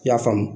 I y'a faamu